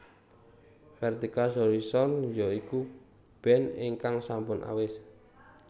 Vertical Horizon ya iku band ingkang sampun awis